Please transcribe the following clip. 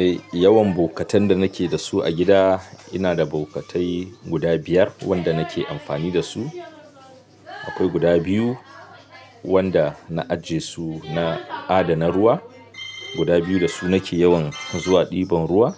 Eh, yawan bokatan da nake da su a gida, ina da bokatai guda biyar wanda nake amfani da su. Akwai guda biyu wanda na ajiye su na adana ruwa. Guda biyu da su nake yawan zuwa ɗiban ruwa.